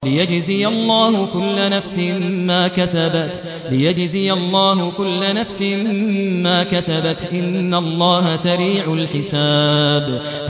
لِيَجْزِيَ اللَّهُ كُلَّ نَفْسٍ مَّا كَسَبَتْ ۚ إِنَّ اللَّهَ سَرِيعُ الْحِسَابِ